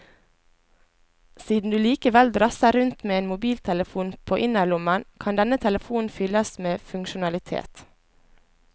Siden du likevel drasser rundt med en mobiltelefon på innerlommen, kan denne telefonen fylles med funksjonalitet.